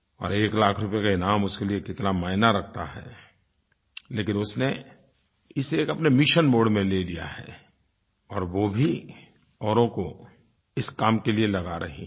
और एक लाख रुपये का इनाम उसके लिये कितना मायने रखता है लेकिन उसने इसे एक अपने मिशन मोडे में ले लिया है और वो भी औरों को इस काम के लिये लगा रही हैं